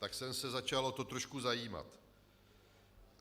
Tak jsem se začal o to trošku zajímat.